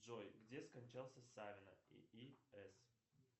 джой где скончался